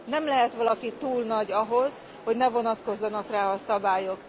Nem lehet valaki túl nagy ahhoz, hogy ne vonatkozzanak rá a szabályok.